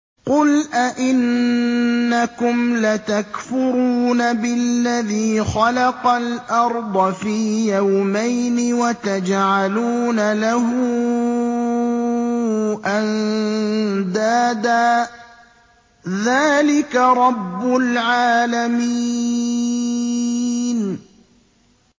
۞ قُلْ أَئِنَّكُمْ لَتَكْفُرُونَ بِالَّذِي خَلَقَ الْأَرْضَ فِي يَوْمَيْنِ وَتَجْعَلُونَ لَهُ أَندَادًا ۚ ذَٰلِكَ رَبُّ الْعَالَمِينَ